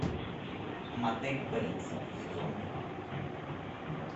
мотель бейтсов сезон два